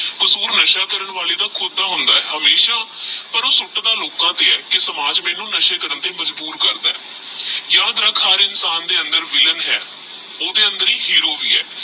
ਕਸੂਰ ਨਸ਼ਾ ਕਾਰਾਂਕਰਣ ਵਾਲੇ ਦਾ ਖੁਦ ਦਾ ਹੋਂਦਾ ਆਹ ਪਰ ਓਹ ਸੁੱਟਦਾ ਲੋਕਾ ਤੇਹ ਆਹ ਕੀ ਸਮਾਜ ਮੈਨੂ ਨਸ਼ਾ ਕਰਨ ਤੇਹ ਮ, ਅਜ੍ਬੁਰ ਕਰਦਾ ਆਹ ਯਾਦ ਰਖ ਹਰ ਇੰਸ਼ਾਂ ਦੇ ਅੰਦਰ ਹੇਰੋ ਆਹ ਤੇਹ ਵਿਲ੍ਲਾਂ ਵੀ ਆਹ